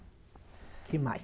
O que mais?